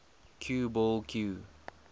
cue ball cue